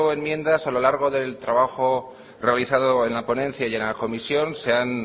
enmiendas a lo largo del trabajo realizado en la ponencia y en la comisión se han